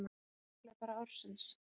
Kosið um langhlaupara ársins